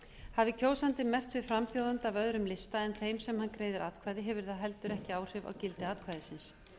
hafi kjósandi merkt við frambjóðanda af öðrum lista en þeim sem hann greiðir atkvæði hefur það heldur ekki áhrif á gildi atkvæðisins